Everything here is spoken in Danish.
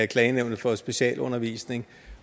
klagenævnet for specialundervisning